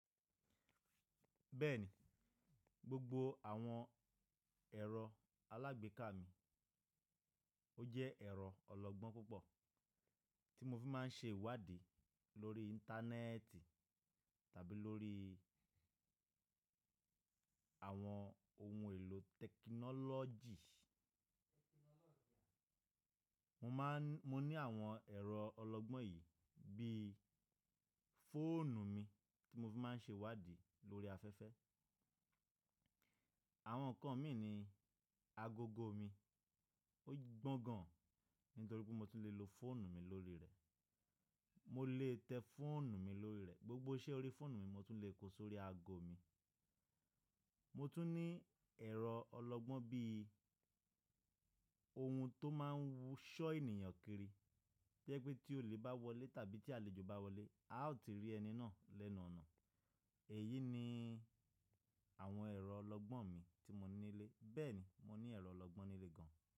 Bẹ́ẹ̀ni, gbogbo àwọn ẹ̀rọ alágbèéká mi ó jẹ́ ẹ̀rọ ọlọgbọ́n púpọ̀ tí mo fi má ń ṣe ìwádìí lórí íńtánẹ́ẹ̀tì tàbí lórí àwọn ohun èlò tẹ́kìnọ́lọ́jì. Mo má ń, mo ní àwọn ẹ̀rọ ọlọgbọ́n yìí bí i fóònù mi tí mo fi má ń ṣe ìwádìí lórí afẹ́fẹ́. Àwọn kan mi ni agogo mi. Ó gbọ́n gan nítorí pé mo tún lè lo fóònù mi lórí rẹ̀. Mo lè tẹ́ fóònù mi lórí rẹ̀. Gbogbo iṣẹ́ orí fóònù mi mo tún lè kó sórí ago mi. Mo tún ní ẹ̀rọ ọlọgbọ́n bí i ohun tó má ń wusọ́ ènìyàn kiri. Bí i pé tí òle bá wọlé tàbí tí àlejò bá wọlé, a ó ti rí ẹni náà lẹ́nu ọ̀nà. Èyí ni àwọn ẹ̀rọ ọlọgbọ́n mi tí mo ní nílé. Bẹ́ẹ̀ ni, mo ní ẹ̀rọ ọlọgbọ́n nílé gan.